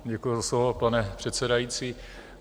Děkuji za slovo, pane předsedající.